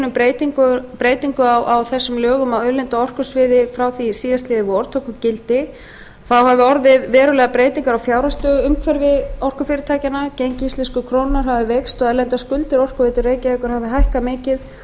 um breytingu á þessum lögum á auðlinda og orkusviði frá því síðastliðið vor tóku gildi þá höfðu orðið verulegar breytingar á fjárhagsstöðuumhverfi orkufyrirtækjanna gengi íslensku krónunnar hafði veikst og erlendar skuldir orkuveitu reykjavíkur höfðu hækkað mikið